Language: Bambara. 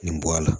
Nin bɔ a la